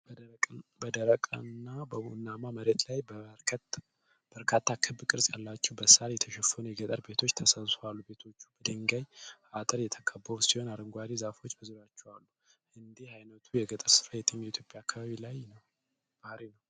በደረቅና ቡናማ መሬት ላይ በርካታ ክብ ቅርጽ ያላቸው፣ በሳር የተሸፈኑ የገጠር ቤቶች ተሰብስበው አሉ። ቤቶቹ በድንጋይ አጥር የተከበቡ ሲሆን፣ አረንጓዴ ዛፎችም በዙሪያቸው አሉ። እንዲህ ዓይነቱ የገጠር ሰፈራ የትኛው የኢትዮጵያ አካባቢ ባሕርይ ነው?